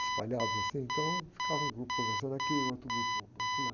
espalhados assim, então ficava um grupo conversando aqui e outro grupo no banco lá.